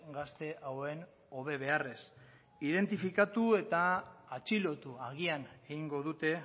gazte hauen hobe beharrez identifikatu eta atxilotu agian egingo dute